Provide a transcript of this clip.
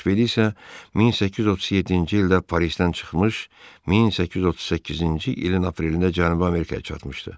Ekspedisiya 1837-ci ildə Parisdən çıxmış, 1838-ci ilin aprelində Cənubi Amerikaya çatmışdı.